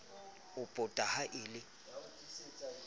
o puta ha le le